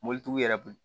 Mobilitigiw yɛrɛ kun